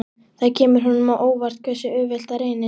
Það kemur honum á óvart hversu auðvelt það reynist.